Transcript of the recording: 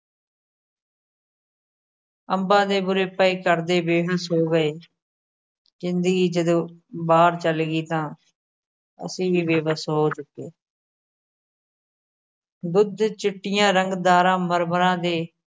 ਅੰਬਾ ਦੇ ਬੂਰੇ ਪਏ ਤਰਦੇ ਵੇਖ ਬੇਬੱਸ ਹੋ ਗਏ। ਜ਼ਿੰਦਗੀ ਜਦੋ ਬਾਹਰ ਚਲਗੀ ਤਾਂ ਅਸੀ ਵੀ ਬੇਬੱਸ ਹੋ ਚੁੱਕੇ ਦੁੱਧ ਚਿੱਟੀਆ ਰੰਗਦਾਰਾ ਮਰਮਰਾ ਦੇ